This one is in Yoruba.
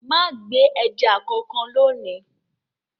Má gbẹ ẹja kankan lónìí!